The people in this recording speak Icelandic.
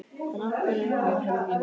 En af hverju er hann að hætta?